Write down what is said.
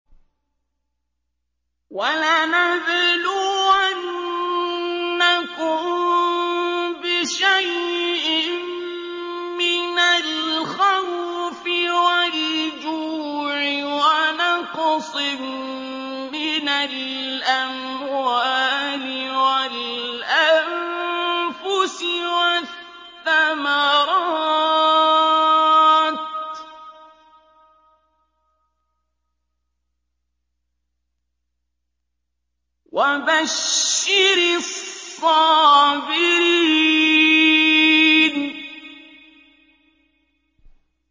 وَلَنَبْلُوَنَّكُم بِشَيْءٍ مِّنَ الْخَوْفِ وَالْجُوعِ وَنَقْصٍ مِّنَ الْأَمْوَالِ وَالْأَنفُسِ وَالثَّمَرَاتِ ۗ وَبَشِّرِ الصَّابِرِينَ